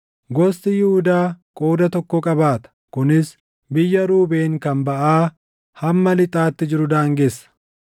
Gosti Yihuudaa qooda tokko qabaata; kunis biyya Ruubeen kan baʼaa hamma lixaatti jiru daangessa.